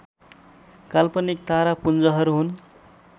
काल्पनिक तारापुञ्जहरू हुन्